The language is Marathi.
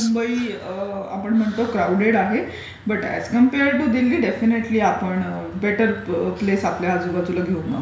मुंबई आपण म्हणतो क्राऊडेड आहे but as compared to Delhi आपण बेटर प्लेस आपल्या आजूबाजूला घेऊन आहोत.